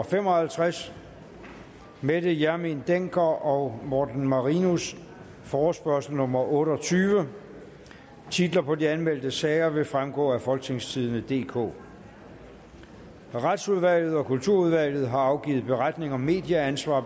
fem og halvtreds mette hjermind dencker og morten marinus forespørgsel nummer f otte og tyve titler på de anmeldte sager vil fremgå af folketingstidende DK retsudvalget og kulturudvalget har afgivet beretning om medieansvar